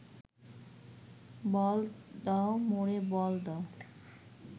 বল দাও মোরে বল দাও